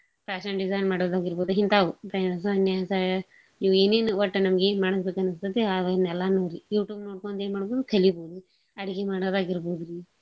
Fashion design ಆಗೀರ್ಬೋದು ಇಂತಾವು phone ನ್ಯಾಗ ಇವು ಏನೇನ್ ಒಟ್ಟ ನಮ್ಗ ಏನ್ ಮಾಡ್ಬೇಕ್ ಅನ್ನಸ್ತೇತಿ ಅದನ್ ಎಲ್ಲಾನೂ YouTube ನೋಡ್ಕೊಂಡು ಎನ್ ಮಾಡೋಡು ಕಲಿಬೋದು ಅಡ್ಗಿ ಮಾಡೋದ್ ಆಗೀರ್ಬೋದ್ರಿ.